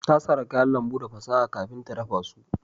Ta sara kayan lambu da fasaha kafin ta dafa su